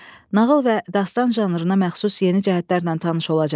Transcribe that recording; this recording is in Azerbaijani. Nağıl və dastan janrına məxsus yeni cəhətlərlə tanış olacaqsız.